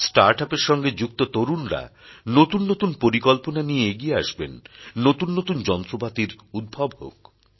start up এর সঙ্গে যুক্ত তরুণরা নতুন নতুন পরিকল্পনা নিয়ে এগিয়ে আসবেন নতুন নতুন যন্ত্রপাতির উদ্ভব হোক